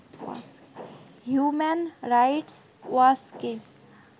human Rights Watch K